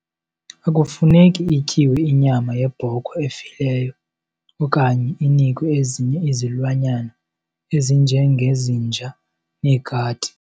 Akufuneki ityiwe inyama yebhokhwe efileyo okanye inikwe ezinye izilwanyana ezinjengezinja neekati.